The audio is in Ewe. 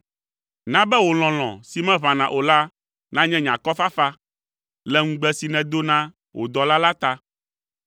Na be wò lɔlɔ̃ si meʋãna o la nanye nye akɔfafa, le ŋugbe si nèdo na wò dɔla la ta.